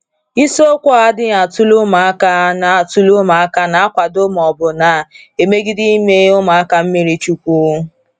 Isiokwu a adịghị atụle ụmụka na atụle ụmụka na - akwado ma ọ bụ na - emegide ime ụmụaka mmiri chukwu.